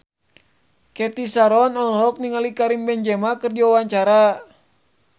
Cathy Sharon olohok ningali Karim Benzema keur diwawancara